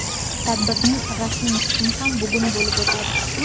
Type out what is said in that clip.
Tadbirning rasmiy qismi ham bugun bo‘lib o‘tadi.